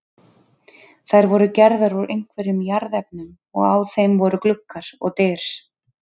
Þær voru gerðar úr einhverjum jarðefnum og á þeim voru gluggar og dyr.